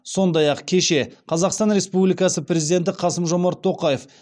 сондай ақ кеше қазақстан республикасы президенті қасым жомарт тоқаев